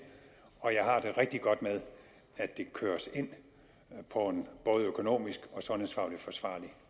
og jeg har det rigtig godt med at det køres ind på en både økonomisk og sundhedsfaglig forsvarlig